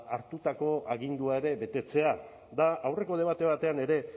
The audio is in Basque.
hartutako agindua ere betetzea aurreko debate batean ere